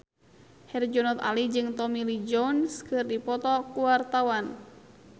Herjunot Ali jeung Tommy Lee Jones keur dipoto ku wartawan